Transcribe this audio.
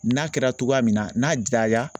N'a kɛra cogoya min na n'a